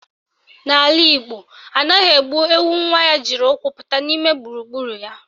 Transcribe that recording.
N'ala Igbo, anaghị egbu ewu nwa ya jiri ụkwụ pụta n'ime gburugburu ya